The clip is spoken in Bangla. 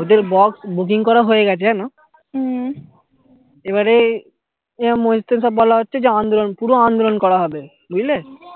ওদের box booking করা হয়ে গেছে জানো এবারে এবার মসজিদ থেকে বলা হচ্ছে আন্দোলন পুরো আন্দোলন করা হবে বুঝলে